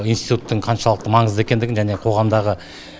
институттың қаншалықты маңызды екендігін және қоғамдағы